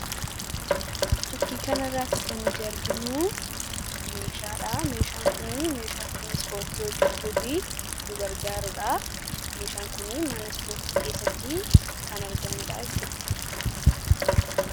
fakkii kana irratti kan nuti arginu meeshaadha. Meeshaan kun meeshaa ittiin ispoortii hojjechuuf nu gargaaruudha. meeshaan kun mana ispoortii keessatti kan argamudha jechuudha.